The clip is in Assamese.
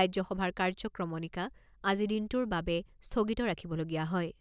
ৰাজ্যসভাৰ কাৰ্যক্ৰমণিকা আজি দিনটোৰ বাবে স্থগিত ৰাখিবলগীয়া হয়।